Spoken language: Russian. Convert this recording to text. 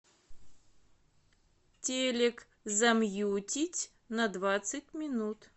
телек замьютить на двадцать минут